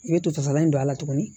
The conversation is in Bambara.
I bɛ to fasalan don a la tuguni